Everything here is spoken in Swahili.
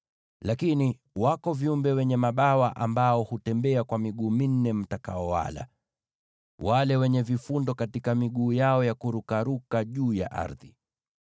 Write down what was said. Lakini wako viumbe wenye mabawa ambao hutembea kwa miguu minne mtakaowala: wale wenye vifundo katika miguu yao ya kurukaruka juu ya ardhi.